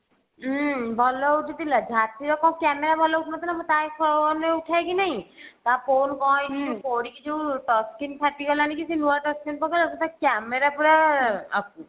ହୁଁ ଭଲ ଉଠିଥିଲା କଣ camera ଭଲ ଉଠିନଥିଲା ମୁଁ ତା phone ରେ ଉଠାଏ କି ନାହିଁ ତା phone କଣ ହେଇଛି ଯଉ ପଡିକି ଯଉ touch screen ଫାଟି ଗଲାନି କି ସେ ନୂଆ touch screen ପକେଇଲା ସେଟା camera ପୁରା